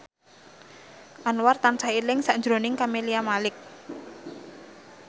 Anwar tansah eling sakjroning Camelia Malik